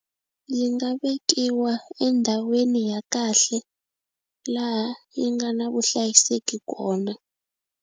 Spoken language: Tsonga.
Yi nga vekiwa endhawini ya kahle laha yi nga na vuhlayiseki kona.